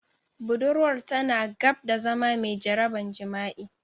Budurwar tana gab da zama mai jaraban jima'i.